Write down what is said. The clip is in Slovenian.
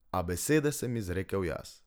A besede sem izrekal jaz.